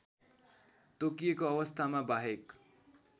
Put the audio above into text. तोकिएको अवस्थामा बाहेक